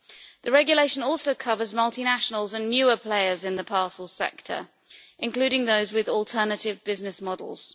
The regulation also covers multinationals and newer players in the parcel sector, including those with alternative business models.